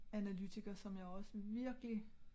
Analytiker som jeg også virkelig